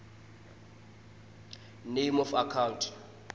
name of account